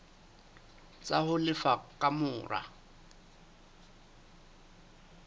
tsa ho lefa ka mora